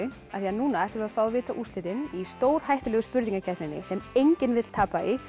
af því núna ætlum við að fá að vita úrslitin í stórhættulegu spurningakeppninni sem enginn vill tapa í